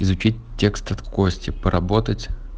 изучить текст от кости поработать